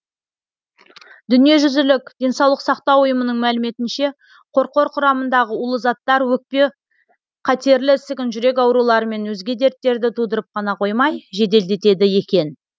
дүниежүзілік денсаулық сақтау ұйымының мәліметінше қорқор құрамындағы улы заттар өкпе қатерлі ісігін жүрек аурулары мен өзге дерттерді тудырып қана қоймай жеделдетеді екен